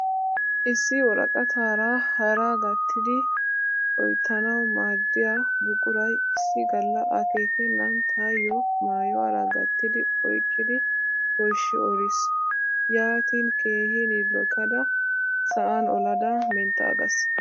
Issi woraqataara haraa gattidi oyttanawu maaddiya buquray issi galla akeekennan tayyo maayuwara gattidi oyqqidi pooshshi olis. Yaatin keehin yillotada sa"an olada menttaaggaas.